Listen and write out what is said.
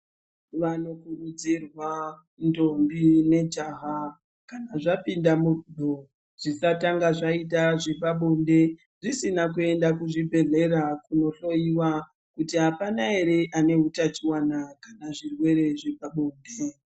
Vanokurudzirwa ndombi nejaha kana zvapinda murudo zvisatanga zvaita zvepabonde zisina kuenda kuzvibhedhlera kunohloiwa. Kuti hapana ere ane hutachivana kana zvirwere zvepabonde.